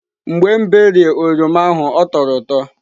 Ee, mgbe m berịe oroma ahụ ọ tọrọ ụtọ.